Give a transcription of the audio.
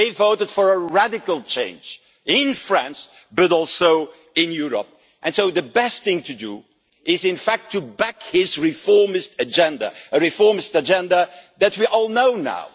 They voted for a radical change in France, but also in Europe, and so the best thing to do is in fact to back his reformist agenda a reformist agenda that we all know now.